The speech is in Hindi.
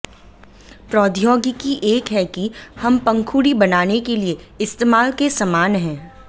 प्रौद्योगिकी एक है कि हम पंखुड़ी बनाने के लिए इस्तेमाल के समान है